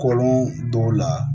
Kɔlɔn dɔw la